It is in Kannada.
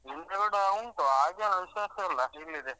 ಹೂವಿನ ಗಿಡ ಉಂಟು ಹಾಗೇನ್ ವಿಶೇಷ ಇಲ್ಲ ಇಲ್ಲಿದೆ.